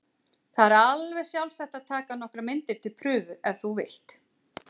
Það er alveg sjálfsagt að taka nokkrar myndir til prufu ef þú vilt.